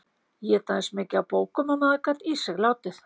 Éta eins mikið af bókum og maður gat í sig látið.